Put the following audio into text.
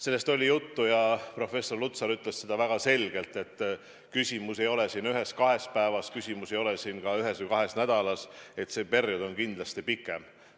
Sellest oli juttu ja professor Lutsar ütles väga selgelt, et küsimus ei ole ühes-kahes päevas, küsimus ei ole ka ühes või kahes nädalas – see periood on kindlasti pikem.